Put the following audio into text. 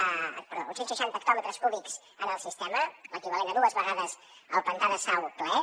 perdó uns cent seixanta hectòmetres cúbics en el sistema l’equivalent a dues vegades el pantà de sau ple